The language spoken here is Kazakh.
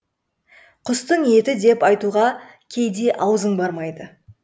құстың еті деп айтуға кейде аузың бармайды